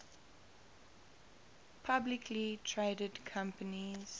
publicly traded companies